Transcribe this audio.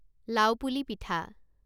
লাওপুলি পিঠা